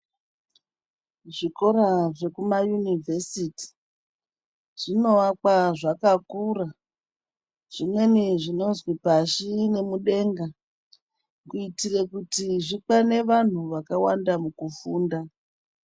Zvikora zvekumayunivhesiti zvinovakwa zvakakura zvimweni zvinozi pashi nemudenga. Kuitire kuti zvikwane vantu vakawanda mukufunda.